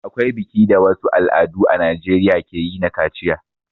Akwai biki da wasu al'adu a najeriya ke yi na kaciya.